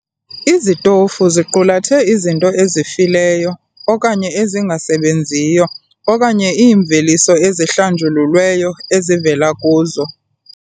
Izitofu ziqulathe izinto ezifileyo okanye ezingasebenziyo okanye iimveliso ezihlanjululweyo ezivela kuzo.